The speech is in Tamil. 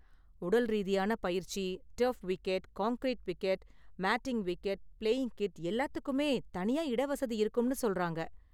உடல் ரீதியான பயிற்சி, turf wicket, concrete wicket, matting wicket, playing kit எல்லாத்துக்குமே தனியா இடவசதி இருக்கும்னு சொல்றாங்க.